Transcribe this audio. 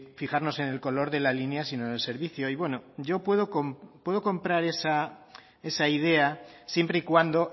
fijarnos en el color de la línea sino en el servicio y bueno yo puedo comprar esa idea siempre y cuando